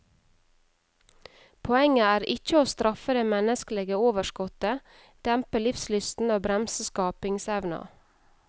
Poenget er ikkje å straffe det menneskelege overskottet, dempe livslysten og bremse skapingsevna.